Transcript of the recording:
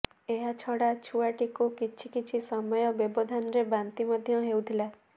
ଏହା ଛଡା ଛୁଆଟିକୁ କିଛି କିଛି ସମୟ ବ୍ୟବଧାନରେ ବାନ୍ତି ମଧ୍ୟ ହେଉଥିଲା